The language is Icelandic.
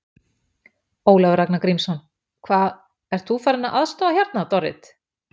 Ólafur Ragnar Grímsson: Hvað, ert þú farin að aðstoða hérna, Dorrit?